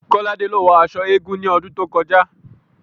Kolade ló wọ aṣọ eégún ní ọdún tó kọjá